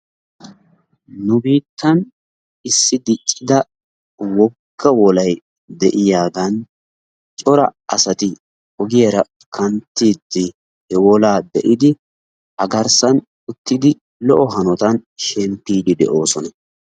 Nu biittan issi diccida wogga wolay de'iyaagan cora asati ogiyaara kanttidi he wolaa be'idi a garssan uttidi lo''o hanotan shemppidi de'oosona.